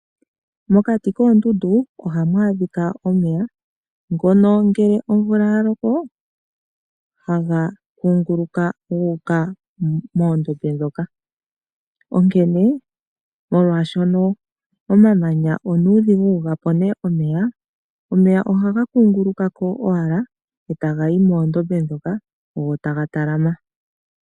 Mokati koondundu ohamu adhikwa omeya, ngono ngele omvula yaloko haga kunguluka guuka moondombe. Onkene molwaashoka omamanya onuudhigu ga pone omeya, omeya ohaga kunguluka ko owala eta gayi moondombe moka etaga talama.